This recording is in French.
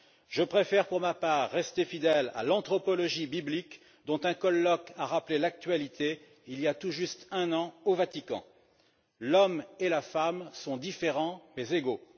Je préfère pour ma part rester fidèle à l'anthropologie biblique, dont un colloque a rappelé l'actualité il y a tout juste un an au Vatican. L'homme et la femme sont différents mais égaux.